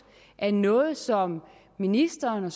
er noget som ministeren